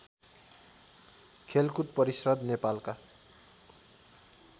खेलकुद परिषद् नेपालका